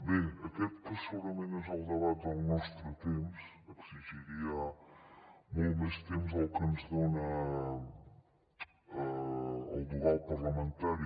bé aquest que segurament és el debat del nostre temps exigiria molt més temps del que ens dona el dogal parlamentari